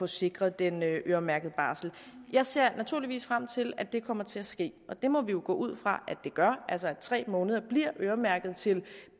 sikre den øremærkede barsel jeg ser naturligvis frem til at det kommer til at ske og det må vi jo gå ud fra at det gør altså at tre måneder bliver øremærket til